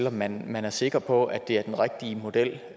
om man man er sikker på at det er den rigtige model